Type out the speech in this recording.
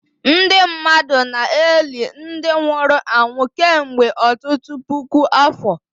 Ndị mmadụ na-eli ndị nwụrụ anwụ kemgbe ọtụtụ puku afọ